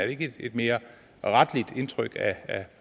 ikke et mere retteligt indtryk af